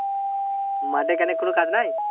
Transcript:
মাঠে কেনে কোনো কাজ নাই?